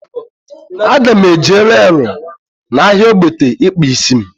A ga m eje reelu n'ahia ogbete ikpa isi m